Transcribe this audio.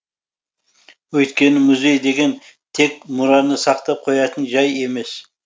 өйткені музей деген тек мұраны сақтап қоятын жай емес